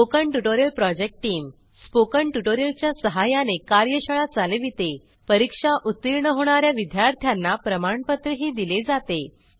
spoken tutorial project टीमSpoken tutorial च्या सहाय्याने कार्यशाळा चालवितेपरीक्षा उत्तीर्ण होणा या विद्यार्थ्यांना प्रमाणपत्रही दिले जाते